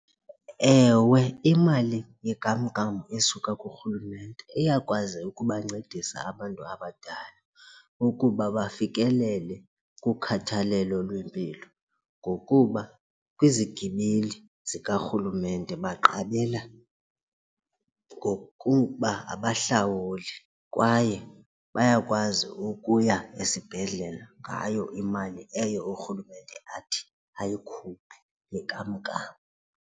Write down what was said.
Ewe, imali yenkamnkam esuka kurhulumente iyakwazeka ukubancedisa abantu abadala ukuba bafikelele kukhathalelo lwempilo ngokuba kwizigibeli zikarhulumente baqabela ngokuba abahlawuli kwaye bayakwazi ukuya esibhedlele ngayo imali eyo urhulumente athi ayikhuphe yenkamnkam.